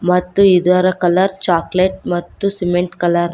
ಮತ್ತು ಇದರ colour chocolate ಮತ್ತು ಸಿಲ್ವರ್ ಕಲರ್ .